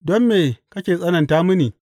Don me kake tsananta mini?’